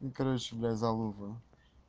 и короче блядь залупа